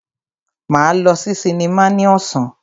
Máa lọ sí sinimá ní ọ̀sán.